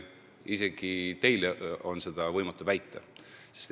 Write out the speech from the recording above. Isegi teil on seda võimatu väita.